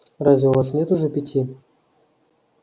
разве у вас нет уже пяти